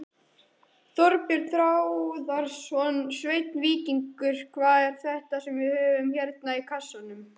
Þorbjörn Þórðarson: Sveinn Víkingur, hvað er þetta sem við höfum hérna í kassanum?